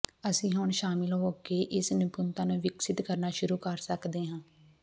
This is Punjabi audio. ਅਸੀਂ ਹੁਣ ਸ਼ਾਮਲ ਹੋ ਕੇ ਇਸ ਨਿਪੁੰਨਤਾ ਨੂੰ ਵਿਕਸਿਤ ਕਰਨਾ ਸ਼ੁਰੂ ਕਰ ਸਕਦੇ ਹਾਂ